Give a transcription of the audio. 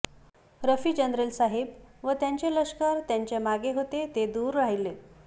रफीजरनेल साहेब व त्यांचे लष्कर त्यांचे मागें होते ते दूर राहिले